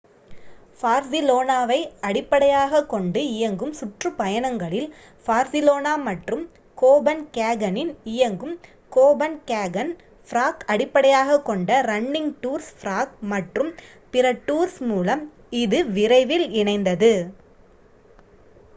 பார்சிலோனாவை அடிப்படையாக கொண்டு இயங்கும் சுற்றுப்பயணங்களில் பார்சிலோனா மற்றும் கோபன்ஹேகனின் இயங்கும் கோபன்ஹேகன் ப்ராக் அடிப்படையாகக் கொண்ட ரன்னிங் டூர்ஸ் ப்ராக் மற்றும் பிற டூர்ஸ் மூலம் இது விரைவில் இணைந்தது